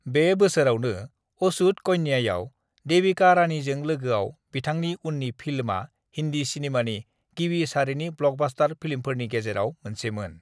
बे बोसोरावनो अछूत कन्यायाव देविका रानीजों लोगोआव बिथांनि उन्नि फिल्मआ हिन्दी सिनेमानि गिबि सारिनि ब्लकबास्टार फिल्मफोरनि गेजेराव मोनसेमोन।